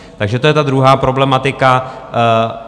Takže to je ta druhá problematika.